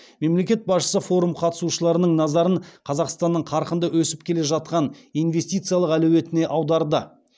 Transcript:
мемлекет басшысы форум қатысушыларының назарын қазақстанның қарқынды өсіп келе жатқан инвестициялық әлеуетіне аударды